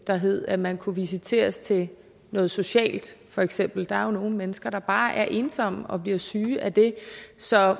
der hed at man kunne visiteres til noget socialt for eksempel der er jo nogle mennesker der bare er ensomme og bliver syge af det så